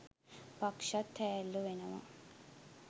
පක්ෂත් හෑල්ලු වෙනවා